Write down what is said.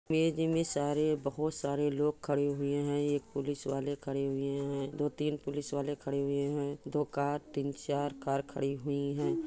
Image में सारे बहुत सारे लोग खड़े हुए है एक पुलिस वाले खड़े हुए है दो तीन पुलिस वाले खड़े हुए है दो कार तिन चार कार खड़ी हुई है।